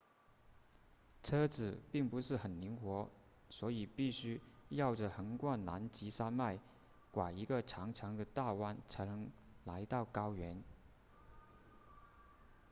车子并不是很灵活所以必须绕着横贯南极山脉拐一个长长的的大弯才能来到高原